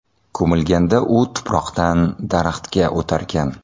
Ko‘milganda u tuproqdan daraxtga o‘tarkan.